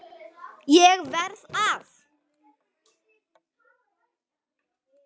ÉG VERÐ AÐ